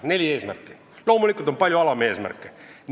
Neli eesmärki ja loomulikult palju alameesmärke.